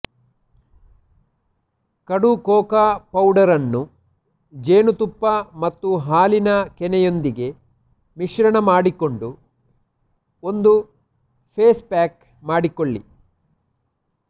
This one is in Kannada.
ಕಡು ಕೋಕಾ ಪೌಡರ್ ನ್ನು ಜೇನುತುಪ್ಪ ಮತ್ತು ಹಾಲಿನ ಕೆನೆಯೊಂದಿಗೆ ಮಿಶ್ರಣ ಮಾಡಿಕೊಂಡು ಒಂದು ಫೇಸ್ ಪ್ಯಾಕ್ ಮಾಡಿಕೊಳ್ಳಿ